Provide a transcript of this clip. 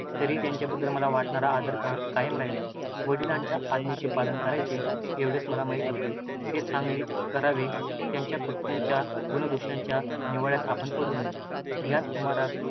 तरीही त्यांच्याबद्दल मला वाटणारा आदर कायम राहिला. वडिलांच्या आज्ञेचे पालन करायचे, एवढे मला माहीत होते. ते सांगतील ते करावे. त्यांच्या कृत्यांच्या गुणदोषांच्या निवाडयात आपण पडू नये. याच सुमारास